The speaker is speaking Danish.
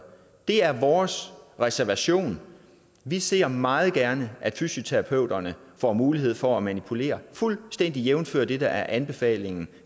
er vores reservation vi ser meget gerne at fysioterapeuterne får mulighed for at manipulere fuldstændig jævnfør det der er anbefalingen